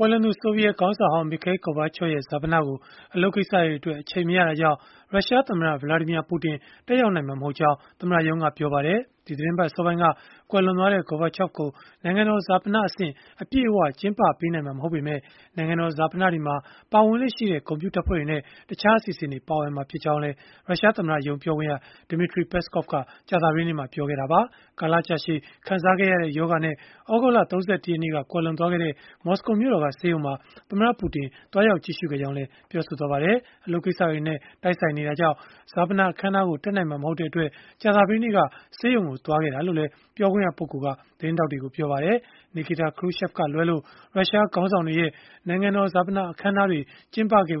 ွန်သူ ဆိုဗီယက်ခေါင်းဆောင်ဟောင်း Mikhail Gorbachev ရဲ့ ဈာပနကို အလုပ်ကိစ္စတွေအတွက် အချိန်မရတာကြောင့် ရုရှားသမ္မတ Vladimir Putin တက်ရောက်နိုင်မှာ မဟုတ်ကြောင်း သမ္မတရုံးကပြောလိုက်ပါတယ်။ ဒီသီတင်းပတ် အစောပိုင်းက ကွယ်လွန်သွားတဲ့ Gorbachev ကို နိုင်ငံတော်ဈာပနအဆင့် အပြည့်အ၀ ကျင်းပပေးနိုင်မှာ မဟုတ်ပေမဲ့၊ နိုင်ငံတော် ဈာပနတွေမှာ ပါဝင်လေ့ရှိတဲ့ ဂုဏ်ပြုတပ်ဖွဲ့နဲ့ တခြားအစီအစဉ်တွေ ပါဝင်မှာ ဖြစ်ကြောင်းလည်း ရုရှားသမ္မတရုံး ပြောခွင့်ရ Dmitry Peskov က ကြာသပတေးနေ့မှာ ပြောခဲ့တာပါ။ ကာလကြာရှည် ခံစားခဲ့ရတဲ့ ရောဂါနဲ့ သြဂုတ်လ ၃၀ ရက်နေ့က ကွယ်လွန်သွားခဲ့တဲ့ မော်စကိုမြို့တော်က ဆေးရုံမှာ သမ္မတပူတင် သွားရောက်ကြည့်ရှုခဲ့ကြောင်းလည်း ပြောပါတယ်။ အလုပ်ကိစ္စတွေနဲ့ တိုက်နေတာကြောင့် ဈာပနအခမ်းအနားကို တက်နိုင်မှာ မဟုတ်တဲ့အတွက်၊ ကြာသပတေးနေ့က ဆေးရုံကို သွားခဲ့တာလို့လည်း ပြောခွင့်ရပုဂ္ဂိုလ်က သတင်းထောက်တွေကို ပြောပါတယ်။ Nikita Khrushchev ကလွဲလို့ ရုရှားခေါင်းဆောင်တွေရဲ့ နိုင်ငံတော် ဈာပနအခမ်းအနားတွေ ကျင်းပခဲ့တဲ့